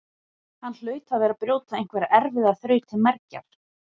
Hann hlaut að vera að brjóta einhverja erfiða þraut til mergjar.